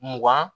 Mugan